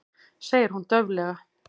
segir hún dauflega.